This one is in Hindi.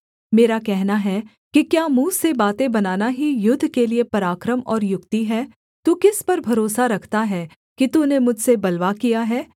मेरा कहना है कि क्या मुँह से बातें बनाना ही युद्ध के लिये पराक्रम और युक्ति है तू किस पर भरोसा रखता है कि तूने मुझसे बलवा किया है